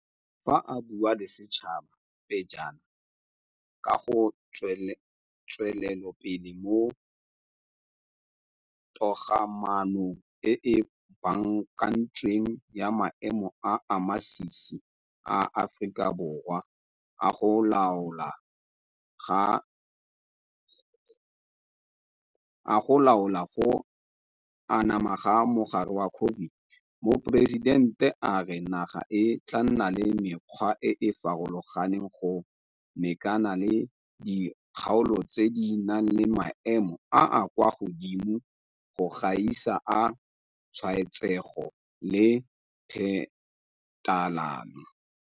Fa a bua le setšhaba pejana ka ga tswelelopele mo togamaanong e e baakantsweng ya maemo a a masisi a Aforika Borwa a go laola go anama ga mogare wa COVID-19, Moporesitente a re naga e tla nna le mekgwa e e farologaneng go mekana le dikgaolo tse di nang le maemo a a kwa godimo go gaisa a tshwaetsego le phetalano.